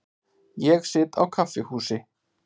Ég sit á kaffihúsi.